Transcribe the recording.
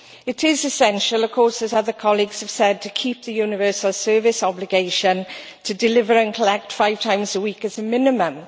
It is essential, of course, as other colleagues have said, to keep the universal service obligation to deliver and collect five times a week as a minimum.